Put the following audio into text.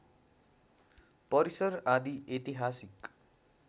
परिसर आदि ऐतिहासिक